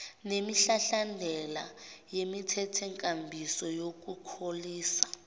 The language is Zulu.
nemihlahlandela yemithethonkambiso yokukhulisa